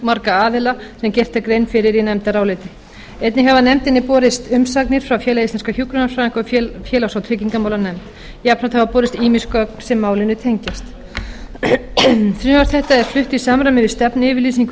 aðila sem gerð er grein fyrir í nefndaráliti einnig hafa nefndinni borist umsagnir frá félagi íslenskra hjúkrunarfræðinga og félags og tryggingamálanefnd jafnframt hafa borist ýmis gögn sem málinu tengjast frumvarp þetta er flutt í samræmi við stefnuyfirlýsingu